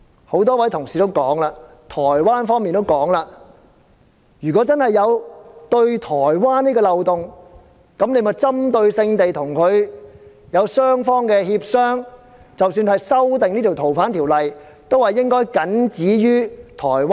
很多同事指出，台灣方面也有提到，如果法例對該宗台灣命案真的有漏洞，當局可以只針對該案雙方進行協商，即使要修訂《條例》，亦應僅止於台灣。